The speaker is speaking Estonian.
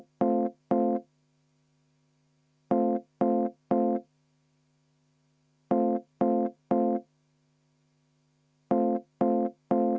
Hääletus tuleb nagunii.